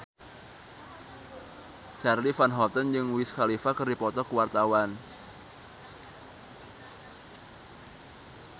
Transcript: Charly Van Houten jeung Wiz Khalifa keur dipoto ku wartawan